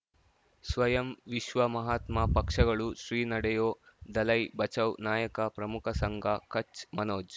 ಸ್ವಯಂ ವಿಶ್ವ ಮಹಾತ್ಮ ಪಕ್ಷಗಳು ಶ್ರೀ ನಡೆಯೂ ದಲೈ ಬಚೌ ನಾಯಕ ಪ್ರಮುಖ ಸಂಘ ಕಚ್ ಮನೋಜ್